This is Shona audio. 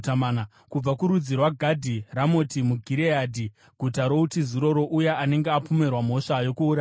kubva kurudzi rwaGadhi, Ramoti muGireadhi (guta routiziro rouya anenge apomerwa mhosva yokuuraya munhu),